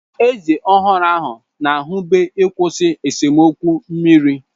Eze ọhụrụ ahụ na-ezube ịkwụsị esemokwu mmiri.